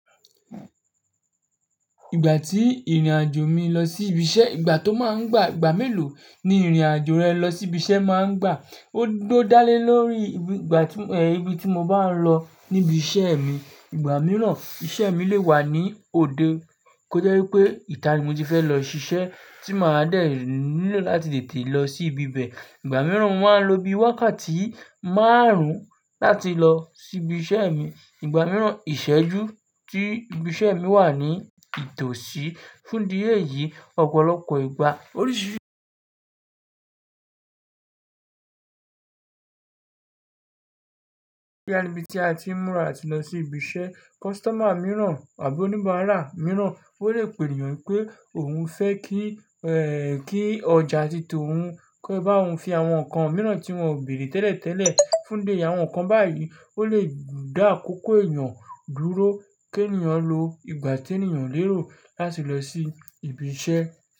Ìgbà tí ìrìnàjò mi lọ sí ibi iṣẹ́, ìgbà tó máa ń gbà, ìgbà mélòó ni ìrìnàjò rẹ lọ sí ibi iṣẹ́ máa ń gbà? Ó gbọ́ dá lé lórí ibi, ìgbà tí, ẹ́, ibi tí mo bá ń lọ níbi iṣẹ́ mi. Ìgbà mìíràn, iṣẹ́ mi lè wà ní òde kó jẹ́ wípé ìta ni mo ti fẹ́ lọ ṣiṣẹ́ tí màá dẹ̀ nílò láti tètè lọ sí ibi bẹ. Ìgbà mìíràn, mó maa ń lo bí wákàtí márùn-ún láti lọ sí ibi iṣẹ́ mi. Ìgbà mìíràn, ìṣẹ́jú tí ibi iṣẹ́ mi wà ní itòsí. Fún idi èyí, ọ̀pọ̀lọpọ̀ ìgbà, oríṣiríṣi boya ní ibi tí a ti ń múra áti lọ sí ibi iṣẹ́. Customer mìíràn àbí oníbàárà mìíràn, ó lè pè ènìyàn wípé òun fẹ́ kí, ẹ́, kí ọjà tìtọ́ òun, ke bá òun fi àwọn nǹkan mìíràn tí wọ́n ó béèrè tẹ́lẹ̀tẹ́lẹ̀. Fún idi eyi, àwọn nǹkan báyìí, ó lè dá àkókò èeyan dúró, kí ènìyàn lo ìgbà tí ènìyàn o lérò láti lọ sí ibi iṣẹ́